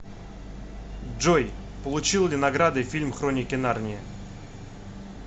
джой получил ли награды фильм хроники нарнии